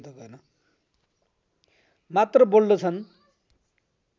मात्र बोल्दछन्